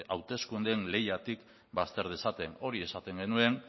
hauteskundeen lehiatik bazter dezaten hori esaten genuen